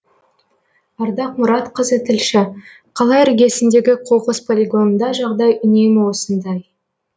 ардақ мұратқызы тілші қала іргесіндегі қоқыс полигонында жағдай үнемі осындай